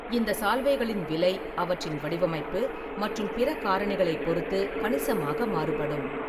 இந்த சால்வைகளின் விலை அவற்றின் வடிவமைப்பு மற்றும் பிற காரணிகளைப் பொறுத்து கணிசமாக மாறுபடும்.